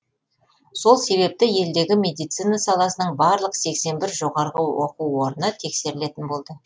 сол себепті елдегі медицина саласының барлық сексен бір жоғарғы оқу орны тексерілетін болды